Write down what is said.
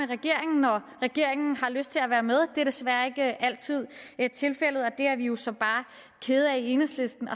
regeringen når regeringen har lyst til at være med det er desværre ikke altid tilfældet og det er vi jo så bare kede af i enhedslisten